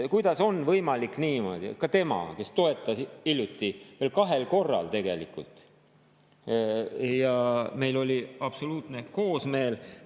Kuidas on võimalik niimoodi, et ka tema, kes ta toetas hiljuti – veel kahel korral tegelikult ja meil oli absoluutne koosmeel –,?